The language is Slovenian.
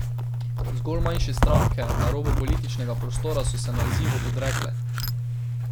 Zgolj manjše stranke na robu političnega prostora so se nazivu odrekle.